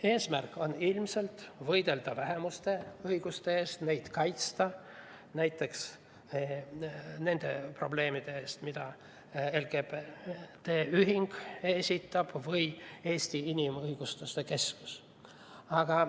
Eesmärk on ilmselt võidelda vähemuste õiguste eest, kaitsta näiteks nende probleemide eest, mida esitab LGBT ühing või Eesti Inimõiguste Keskus.